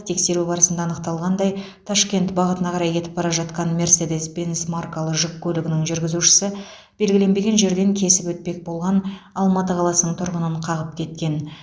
тексеру барысында анықталғандай ташкент бағытына қарай кетіп бара жатқан мерседес бенс маркалы жүк көлігінің жүргізушісі белгіленбеген жерден кесіп өтпек болған алматы қаласының тұрғынын қағып кеткен